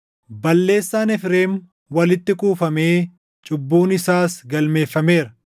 Balleessaan Efreem walitti kuufamee cubbuun isaas galmeeffameera.